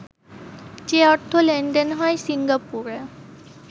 যে অর্থ লেনদেন হয় সিঙ্গাপুরে